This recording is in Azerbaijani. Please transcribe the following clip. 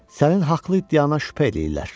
sənin haqlı iddiana şübhə eləyirlər.